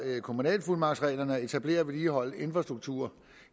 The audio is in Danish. kommunalfuldmagtsreglerne at etablere og vedligeholde infrastruktur